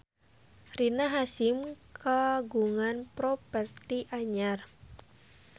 Rina Hasyim kagungan properti anyar